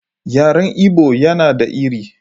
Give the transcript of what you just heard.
Yaren Igbo yana da iri.